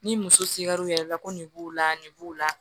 Ni muso sigira u yɛrɛ la ko nin b'u la nin b'u la